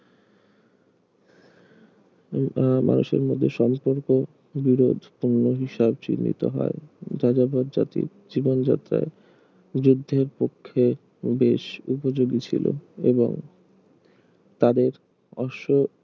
উম আহ মানুষের মধ্যে সম্পর্ক দৃঢ় হিসাব চিহ্নিত হয় যাযাবর জাতি জীবনযাত্রা যুদ্ধের পক্ষে বেশ উপযোগী ছিল এবং তাদের অশ্ব